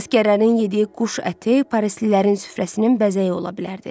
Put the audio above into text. Əsgərlərin yediyi quş əti parislilərin süfrəsinin bəzəyi ola bilərdi.